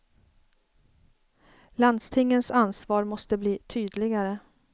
Landstingens ansvar måste bli tydligare.